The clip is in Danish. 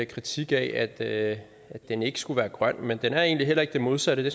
kritik af at den ikke skulle være grøn men den er egentlig heller ikke det modsatte det